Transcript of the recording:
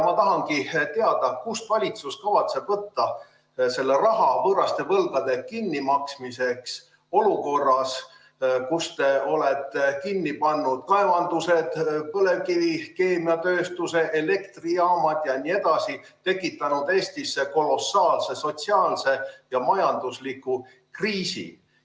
Ma tahangi teada, kust valitsus kavatseb võtta selle raha võõraste võlgade kinnimaksmiseks olukorras, kus te olete kinni pannud kaevandused, põlevkivikeemiatööstuse, elektrijaamad jne, ning tekitanud Eestisse kolossaalse sotsiaalse ja majandusliku kriisi.